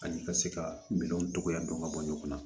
Ani ka se ka minɛnw togoya dɔn ka bɔ ɲɔgɔn na